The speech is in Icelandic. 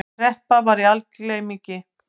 Kreppa var í algleymingi.